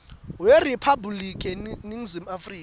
weriphabhliki yaseningizimu afrika